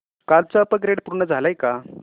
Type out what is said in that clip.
कालचं अपग्रेड पूर्ण झालंय का